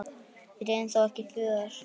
Við réðum þó ekki för.